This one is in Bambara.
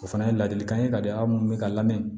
O fana ye ladilikan ye ka di aw mun bɛ ka lamɛn